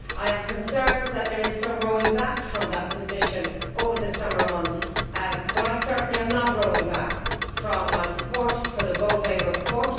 I am concerned that there is some rowing back from that position over the summer months, but I certainly am not rowing back from my support for the Bové report.